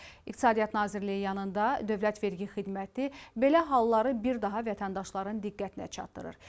İqtisadiyyat Nazirliyi yanında Dövlət Vergi Xidməti belə halları bir daha vətəndaşların diqqətinə çatdırır.